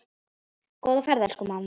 Góða ferð, elsku amma.